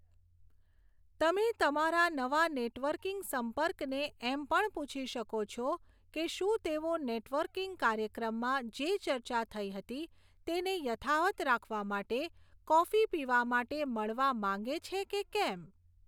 તમે તમારા નવા નેટવર્કિંગ સંપર્કને એમ પણ પૂછી શકો છો કે શું તેઓ નેટવર્કિંગ કાર્યક્રમમાં જે ચર્ચા થઈ હતી તેને યથાવત્ રાખવા માટે કોફી પીવા માટે મળવા માંગે છે કે કેમ.